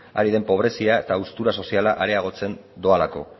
ari den pobrezia eta haustura soziala areagotzen doalako